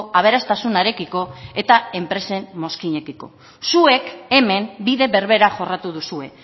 aberastasunarekiko eta enpresen mozkinekiko zuek hemen bide berbera jorratu duzue